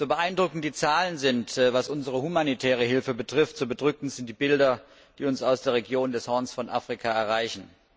So beeindruckend die Zahlen sind, was unsere humanitäre Hilfe betrifft, so bedrückend sind die Bilder, die uns aus der Region des Horns von Afrika erreichen.